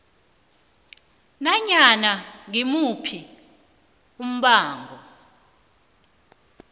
nanyana ngimuphi umbango